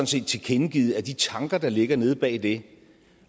set tilkendegivet at de tanker der ligger nede bag det